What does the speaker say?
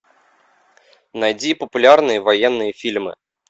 найди популярные военные фильмы